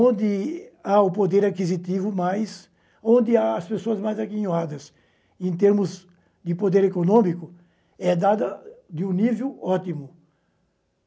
Onde há o poder aquisitivo mais, onde há as pessoas mais aguinhadas em termos de poder econômico, é dada de um nível ótimo.